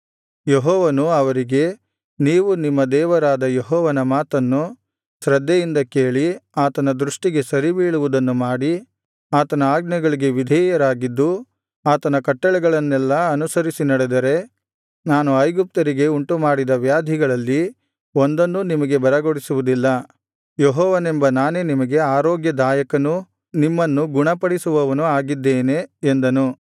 ಯೆಹೋವನು ಅವರಿಗೆ ನೀವು ನಿಮ್ಮ ದೇವರಾದ ಯೆಹೋವನ ಮಾತನ್ನು ಶ್ರದ್ಧೆಯಿಂದ ಕೇಳಿ ಆತನ ದೃಷ್ಟಿಗೆ ಸರಿಬೀಳುವುದನ್ನು ಮಾಡಿ ಆತನ ಆಜ್ಞೆಗಳಿಗೆ ವಿಧೇಯರಾಗಿದ್ದು ಆತನ ಕಟ್ಟಳೆಗಳನ್ನೆಲ್ಲಾ ಅನುಸರಿಸಿ ನಡೆದರೆ ನಾನು ಐಗುಪ್ತ್ಯರಿಗೆ ಉಂಟುಮಾಡಿದ ವ್ಯಾಧಿಗಳಲ್ಲಿ ಒಂದನ್ನೂ ನಿಮಗೆ ಬರಗೊಡಿಸುವುದಿಲ್ಲ ಯೆಹೋವನೆಂಬ ನಾನೇ ನಿಮಗೆ ಆರೋಗ್ಯದಾಯಕನೂ ನಿಮ್ಮನ್ನು ಗುಣಪಡಿಸುವವನೂ ಆಗಿದ್ದೇನೆ ಎಂದನು